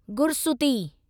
गुरसूती